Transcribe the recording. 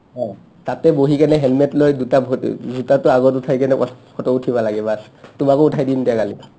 তাতে বহিকিনে হেলমেট লৈ দুটা ভৰি জোতাটো আগত উঠাই কিনে পাছত ফটো উঠিবা লাগে baas তোমাকো উঠাই দিম দিয়া কালি